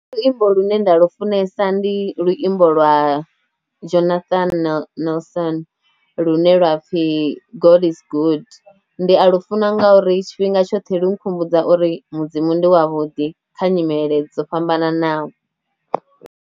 Nṋe luimbo lune nda lufunesa ndi luimbo lwa Jonathan Nelson lune lwa pfhi God is good, ndi a lu funa nga uri tshifhinga tshoṱhe lu nkhumbudza uri mudzimu ndi wavho ḓi kha nyimele dzo fhambananaho.